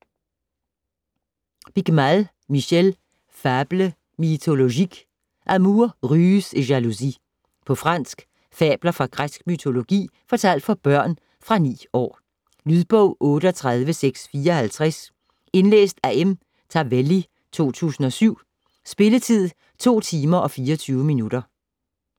Piquemal, Michel: Fables mythologiques: amours, ruses et jalousies På fransk. Fabler fra græsk mytologi fortalt for børn. Fra 9 år. Lydbog 38654 Indlæst af M. Tavelli, 2007. Spilletid: 2 timer, 24 minutter.